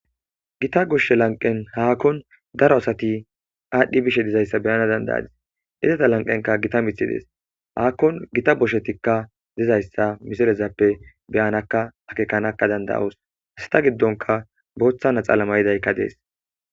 gita gushshe lanqen haakon daro asati aadhdhi bishe dizayssa beyana dandayadis izeta lanqenka gita mithi dees haakkon gita boshetikka dizayssa misilezappe beyanaka akekanakka danda7os hasata giddonka booththana xaalama yidaykka dees